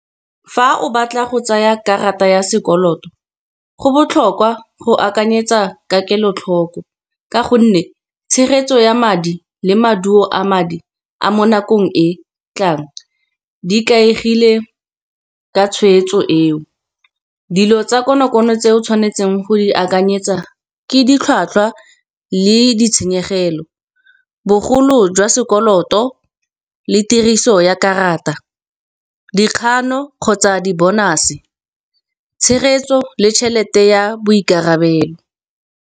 Fa o batla go tsaya karata ya sekoloto go botlhokwa go akanyetsa ka kelotlho. Ka gonne tshegetso ya madi le maduo a madi a mo nakong e tlang, di ikaegile ka tshweetso eo. Dilo tsa konokono tse o tshwanetseng go di akanyetsa ke ditlhwatlhwa le ditshenyegelo, bogolo jwa poloto le tiriso ya karata. Dikgano kgotsa di-bonus-e, tshegetso le tšhelete ya boikarabelo.